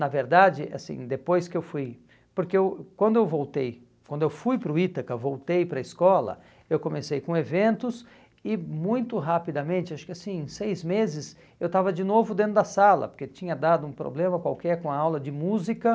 Na verdade, assim, depois que eu fui... Porque eu quando eu voltei, quando eu fui para o Ítaca, voltei para a escola, eu comecei com eventos e muito rapidamente, acho que assim, em seis meses, eu estava de novo dentro da sala, porque tinha dado um problema qualquer com a aula de música.